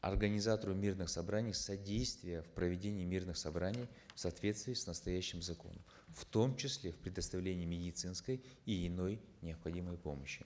организатору мирных собраний содействия в проведении мирных собраний в соответствии с настоящим законом в том числе в предоставлении медицинской и иной необходимой помощи